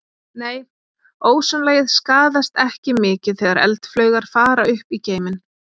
Nei, ósonlagið skaðast ekki mikið þegar eldflaugar fara upp í geiminn.